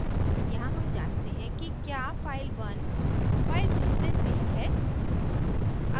यहाँ हम जाँचते हैं कि क्या file1 file2 से नयी है